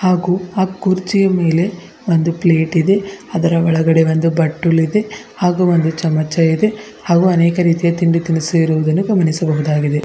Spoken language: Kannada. ಹಾಗೂ ಆ ಕುರ್ಚಿಯ ಮೇಲೆ ಒಂದು ಪ್ಲೇಟ್ ಇದೆ ಅದರ ಒಳಗಡೆ ಒಂದು ಬಟ್ಟಲು ಇದೆ ಹಾಗು ಒಂದು ಚಮಚ ಇದೆ ಹಾಗೂ ಅನೇಕ ರೀತಿಯ ತಿಂಡಿ ತಿನಿಸು ಇರುವುದನ್ನು ಗಮನಿಸಬಹುದಾಗಿದೆ.